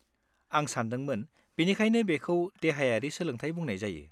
आं सानदोंमोन बेनिखायनो बेखौ देहायारि सोलोंथाय बुंनाय जायो।